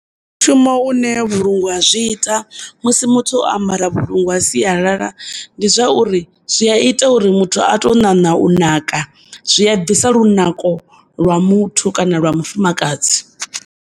Mushumo une vhulunga ha zwi ita musi muthu o ambara vhulungu ha sialala ndi zwa uri zwi a ita uri muthu a to ṋaṋa u naka, zwi a bvisa lunako lwa muthu kana lwa mufumakadzi.